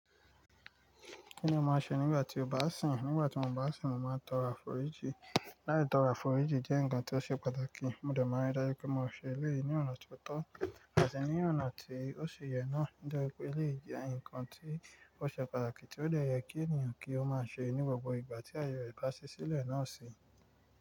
Kíni mo máa ṣe nígbà tí mo bá sun? Nígbà tí mo bá sìn, mo máa ń tọrọ àforíjì. Láyi, tọrọ àforíjì jẹ́ ǹkan tó ṣe pàtàkì. Mo dẹ̀ mọ́ dájú pé mo ṣe eléyìí ní ọ̀nà tó tọ́ àti ní ọ̀nà tí ó ṣe yẹ náà. Dájú pé eléyìí jẹ́ ǹkan tí ó ṣe pàtàkì tí ó dẹ yẹ kí ènìyàn kí ó máa ṣe ní gbogbo ìgbà tí ayẹrẹ bá ṣí sílẹ̀ náà si.